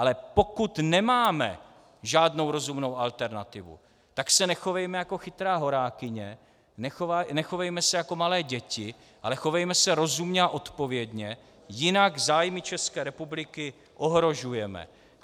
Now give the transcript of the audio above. Ale pokud nemáme žádnou rozumnou alternativu, tak se nechovejme jako chytrá horákyně, nechovejme se jako malé děti, ale chovejme se rozumně a odpovědně, jinak zájmy České republiky ohrožujeme.